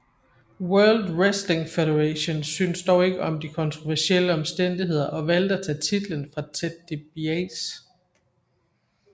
World Wrestling Federation syntes dog ikke om de kontroversielle omstændigheder og valgte at tage titlen fra Ted DiBiase